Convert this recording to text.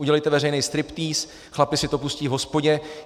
Udělejte veřejný striptýz, chlapi si to pustí v hospodě.